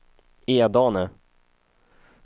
Edane